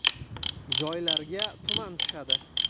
Joylarga tuman tushadi.